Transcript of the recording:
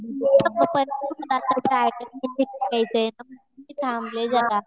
मी थांबले जरा.